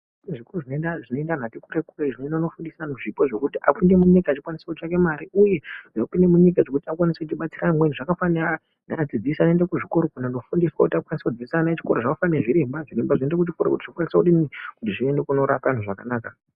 Kunezvikora zvinoenda kunofundisa vantu vati kure kure, zvinoenda kunofundisa zvipo zvekuti apinde munyika achikwanise kutsvake mari uye apinde munyika agokwanisa kubatsira vamweni zvakafanana nevadzidzisi vanoenda kunofundiswa kuti vagokwanisa kudzidzisa vana vechikora, zvakafanana nezviremba, zviremba zvinoenda kuchikora kuti zviende kunorapa vantu zvakanaka.